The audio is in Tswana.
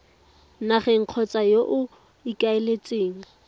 nageng kgotsa yo o ikaeletseng